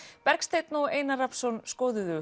Bergsteinn og Einar Rafnsson skoðuðu